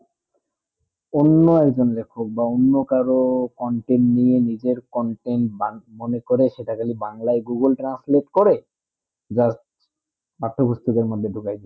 অন্য এক জন লেখক বা অন্য কারো content নিয়ে নিজের content মনে করে সেটাকে বাংলায় google translate করে শহর আটো আটো গুরতেধর মদদে ঢুকাই দিয়েছে